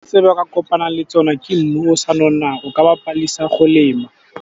Se ba kopang le tsona ke mmu o sa nonang, o ka ba padisa go lema.